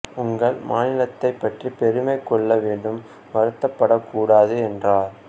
உங்கள் மாநிலத்தைப் பற்றி பெருமை கொள்ள வேண்டும் வருத்தப்படக்கூடாது என்றார்